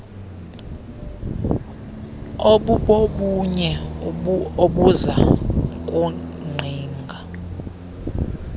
obubobunye obuza kungqing